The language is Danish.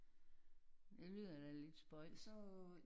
Ja det var da lidt spøjst